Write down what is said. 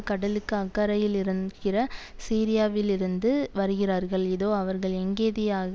கடலுக்கு அக்கரையிலிரக்கிற சீரியாவிலிருந்து வருகிறார்கள் இதோ அவர்கள் எங்கேதியா